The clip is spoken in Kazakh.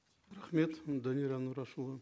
рахмет данияр нұрашұлы